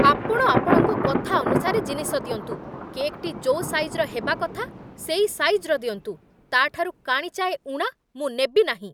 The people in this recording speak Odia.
ଆପଣ ଆପଣଙ୍କ କଥା ଅନୁସାରେ ଜିନିଷ ଦିଅନ୍ତୁ। କେକ୍‌ଟି ଯୋଉ ସାଇଜ୍‌ର ହେବା କଥା ସେଇ ସାଇଜ୍‌ର ଦିଅନ୍ତୁ, ତା'ଠାରୁ କାଣିଚାଏ ଊଣା ମୁଁ ନେବି ନାହିଁ।